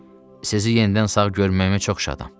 Sizi yenidən sağ görməyimə çox şadam.